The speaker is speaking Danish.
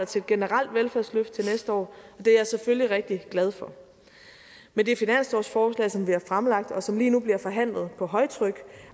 til et generelt velfærdsløft til næste år og det er jeg selvfølgelig rigtig glad for med det finanslovsforslag som vi har fremlagt og som lige nu bliver forhandlet på højtryk